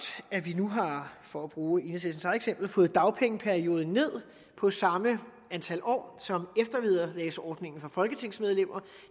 at vi nu har for at bruge enhedslistens eget eksempel fået dagpengeperioden ned på samme antal år som eftervederlagsordningen for folketingsmedlemmer